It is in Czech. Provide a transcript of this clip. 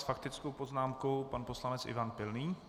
S faktickou poznámkou pan poslanec Ivan Pilný.